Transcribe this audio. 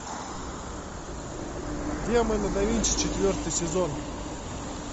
демоны да винчи четвертый сезон